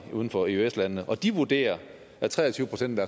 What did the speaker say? uden for eøs landene og de vurderer at tre og tyve procent af